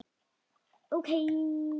Og hvað viltu með það?